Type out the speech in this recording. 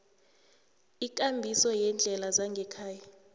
ikambiso yeendlela zangekhaya